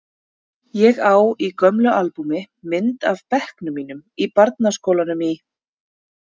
Ég á í gömlu albúmi mynd af bekknum mínum í barnaskólanum í